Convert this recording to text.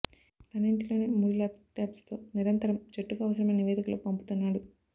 తన ఇంటిలోనే మూడు ల్యాప్టాప్స్తో నిరంతరం జట్టుకు అవసరమైన నివేదికలు పంపుతున్నాడు